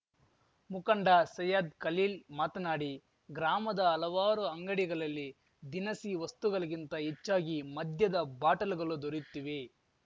ಮುಖಂಡ ಸೈಯದ್‌ ಕಲೀಲ್‌ ಮಾತನಾಡಿ ಗ್ರಾಮದ ಹಲವಾರು ಅಂಗಡಿಗಳಲ್ಲಿ ದಿನಸಿ ವಸ್ತುಗಳಿಗಿಂತ ಹೆಚ್ಚಾಗಿ ಮದ್ಯದ ಬಾಟಲ್‌ಗಳು ದೊರೆಯುತ್ತಿವೆ